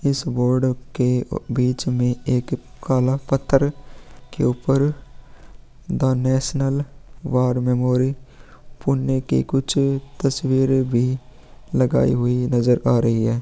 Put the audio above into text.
इस बोर्ड के बीच में एक काला पत्थर के ऊपर द नेशनल वॉर मेमोरी पुनने के कुछ तस्वीरें भी लगाई हुई नजर आ रही है ।